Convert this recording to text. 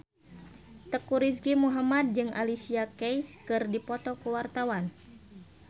Teuku Rizky Muhammad jeung Alicia Keys keur dipoto ku wartawan